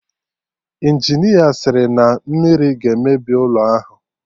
Injinia sịrị na mmiri ga-emebi ụlọ ahụ